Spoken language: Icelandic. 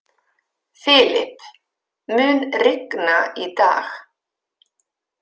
Filip, mun rigna í dag?